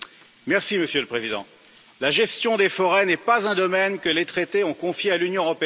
Monsieur le Président, la gestion des forêts n'est pas un domaine que les traités ont confié à l'Union européenne.